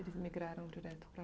Eles migraram direto para